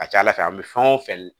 A ka ca ala fɛ an bɛ fɛn o fɛn